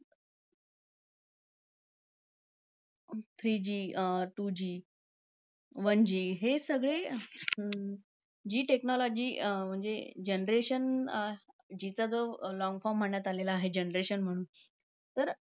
Three G अं two G one G हे सगळे अं G technology म्हणजे generation G चा, जो long form म्हणण्यात आला आहे generation म्हणून तर